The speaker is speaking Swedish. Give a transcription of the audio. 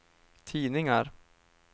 tidningar